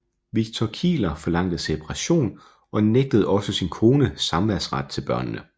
Victor Kieler forlangte separation og nægtede også sin kone samværsret til børnene